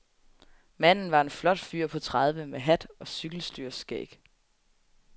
Manden var en flot fyr på tredive med hat og cykelstyrskæg.